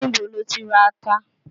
Ní bo lo tí ra ata?